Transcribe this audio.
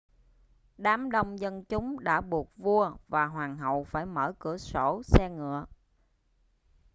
đám đông dân chúng đã buộc vua và hoàng hậu phải mở cửa sổ xe ngựa